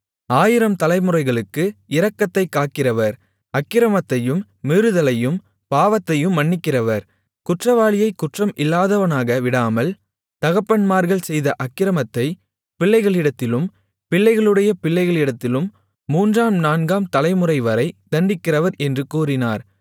ஆயிரம் தலைமுறைகளுக்கு இரக்கத்தைக் காக்கிறவர் அக்கிரமத்தையும் மீறுதலையும் பாவத்தையும் மன்னிக்கிறவர் குற்றவாளியைக் குற்றம் இல்லாதவனாக விடாமல் தகப்பன்மார்கள் செய்த அக்கிரமத்தைப் பிள்ளைகளிடத்திலும் பிள்ளைகளுடைய பிள்ளைகளிடத்திலும் மூன்றாம் நான்காம் தலைமுறைவரை தண்டிக்கிறவர் என்று கூறினார்